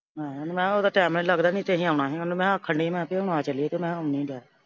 ਨਈਂ ਮਖਾਂ ਉਹਦਾ ਟਾਇਮ ਈ ਨੀ ਲੱਗਦਾ ਨਈਂ ਤੇ ਅਸੀਂ ਆਉਣਾ ਸੀ। ਮੈਂ ਆਖਣ ਡਈ ਮੈਂ ਕਿਹਾ ਆ ਚਲੀਏ ਕਿ ਮੈਂ ਆਉਣੀਆਂ ਚੱਲ।